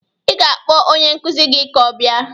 Ị ga-akpọ onye nkụzi gị ka ọ bịa